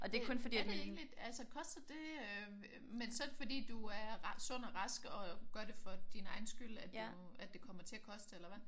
Men er det egentlig altså koster det øh? Men så er det fordi du er sund og rask og gør det for din egen skyld at det at det kommer til at koste eller hvad?